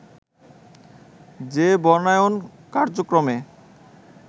যে বনায়ন কার্যক্রমে